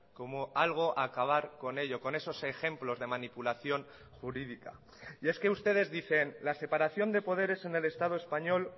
como algo a acabar con ello con esos ejemplos de manipulación jurídica y es que ustedes dicen la separación de poderes en el estado español